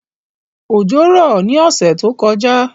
Òjò rọ̀ ní ọ̀sẹ̀ tó kọjá